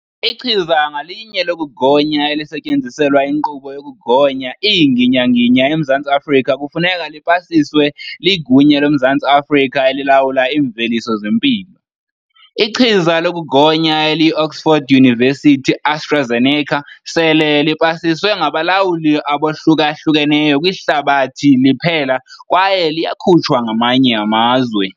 Ichiza ngalinye lokugonya elisetyenziselwa inkqubo yokugonya iinginginya eMzantsi Afrika kufuneka lipasiswe liGunya loMzantsi Afrika eliLawula iiMveliso zeMpilo. Ichiza lokugonya eliyi-Oxford University-AstraZeneca sele lipasiswe ngabalawuli abohluka hlukeneyo kwihlabathi liphela kwaye liyakutshwa ngamanye amazwe.